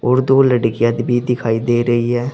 और दो लड़कियां भी दिखाई दे रही है।